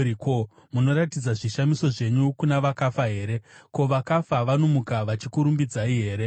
Ko, munoratidza zvishamiso zvenyu kuna vakafa here? Ko, vakafa vanomuka vachikurumbidzai here? Sera